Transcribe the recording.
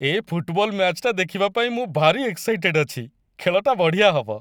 ଏ football ମ୍ୟାଚ୍‌ଟା ଦେଖିବା ପାଇଁ ମୁଁ ଭାରି ଏକ୍‌ସାଇଟେଡ୍ ଅଛି! ଖେଳଟା ବଢ଼ିଆ ହବ ।